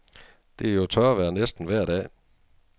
Det er jo tørvejr næsten vejr dag.